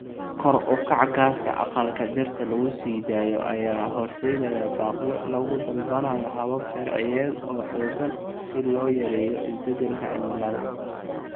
Kor u kaca gaaska aqalka dhirta lagu sii daayo ayaa horseedaya baaqyo lagu dalbanayo habab sharciyeed oo xoogan si loo yareeyo isbedelka cimilada.